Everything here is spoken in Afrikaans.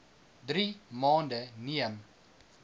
drie maande neem